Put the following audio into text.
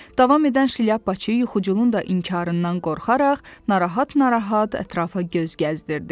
Davam edən şlyapaçı yuxuculun da inkarından qorxaraq narahat-narahat ətrafa göz gəzdirdi.